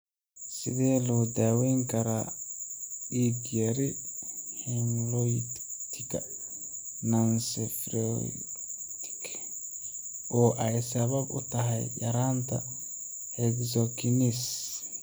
Sidee loo daweyn karaa dig yari hemolytika nonspherocytic oo ay sabab u tahay yaraanta hexokinase?